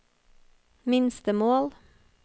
minstemål